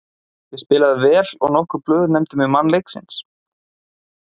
Ég spilaði vel og nokkur blöð nefndu mig mann leiksins.